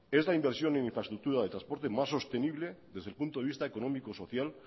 es la inversión en infraestructura de transporte más sostenible desde el punto de vista económico social